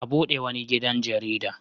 A bude wani gidan jarida.